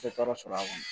Tɛ tɔɔrɔ sɔrɔ a kɔnɔ